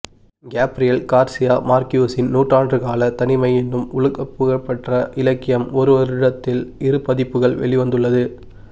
Gabriel Garcia மார்க்யூஸின் நூறாண்டுகாலத் தனிமை என்னும் உலகப்புகழ்பெற்ற இலக்கியம் ஒருவருடத்தில் இருபதிப்புகள் வெளிவந்துள்ளது